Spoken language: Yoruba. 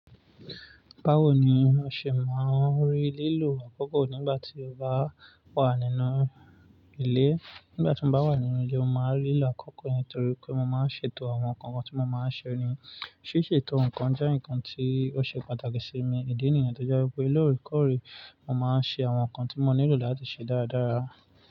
Báwo ni o ṣe máa ń rí lílò àkókò nígbà tí o bá wà nínú ilé? Nígbà tí mo bá wà nínú ilé, mo máa ń rí lílò àkókò yẹn torí pé mo máa ń ṣètò àwọn nǹkan kan tí mo máa ṣe ni. Síṣètò nǹkan jẹ́ ǹkan tí ó ṣe pàtàkì sí mi. Ìdí nìyẹn tó jẹ́ pé lóre kọ́re, mo máa ń ṣe àwọn nǹkan tí mo nílò láti ṣe dáradára.